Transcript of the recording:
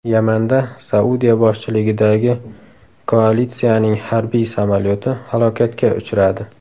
Yamanda Saudiya boshchiligidagi koalitsiyaning harbiy samolyoti halokatga uchradi.